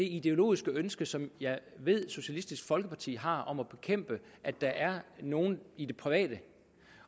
ideologisk ønske som jeg ved socialistisk folkeparti har om at bekæmpe at der er nogen i det private